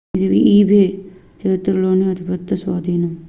ఇది ebay చరిత్రలోనే అతి పెద్ద స్వాధీనం